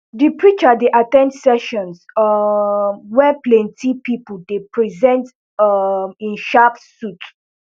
di preacher dey at ten d sessions um wey plenti pipo dey present um in sharp suits